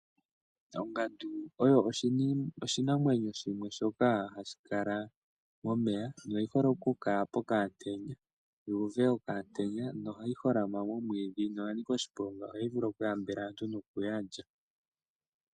Ongandu oyo oshinamwenyo shimwe shoka hashi kala momeya noyi hole okukala pokaantenya yuuve okaantenya noha yi holama momwiidhi noya nika oshiponga oha yi vulu okuyambela aantu nokuya lya.